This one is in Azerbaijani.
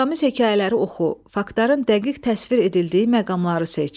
İbrətamiz hekayələri oxu, faktların dəqiq təsvir edildiyi məqamları seç.